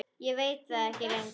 Ég veit það ekki lengur.